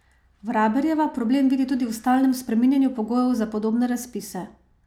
Vraberjeva problem vidi tudi v stalnem spreminjanju pogojev za podobne razpise.